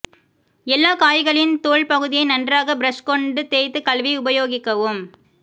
எல்லா காய்களின் தோல் பகுதியை நன்றாக பிரஷ் கொண்டு தேய்த்து கழுவி உபயோகிக்கவும்